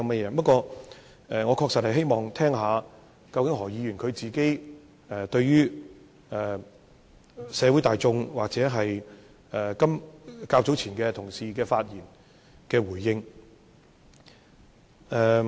不過，我確實希望聽聽，究竟何議員會如何回應社會大眾，或同事較早前的發言。